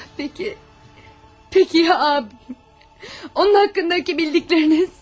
Peki, Peki Ab, onun haqqındakı bildikləriniz?